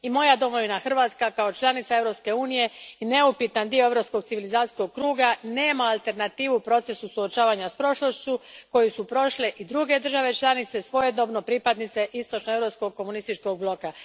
I moja domovina Hrvatska, kao članica Europske unije, neupitan je dio europskog civilizacijskog kruga i nema alternative procesu suočavanja s prošlošću koju su prošle i druge države članice, svojedobno pripadnice istočnoeuropskog komunističkog bloka.